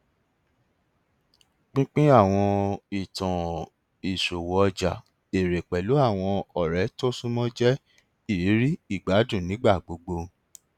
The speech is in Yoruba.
pínpín àwọn ìtàn ìṣòwò ọjà èrè pẹlú àwọn ọrẹ tó súnmọ jẹ ìrírí ìgbádùn nígbà gbogbo